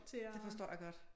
Det forstår jeg godt